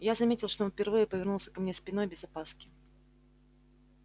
я заметил что он впервые повернулся ко мне спиной без опаски